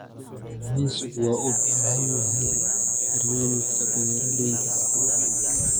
Kalluumaysigu waxa uu u baahan yahay barnaamijyo beeralayda.